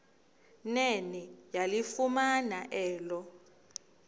nene yalifumana elo